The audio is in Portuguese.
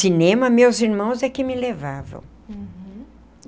Cinema, meus irmãos é que me levavam.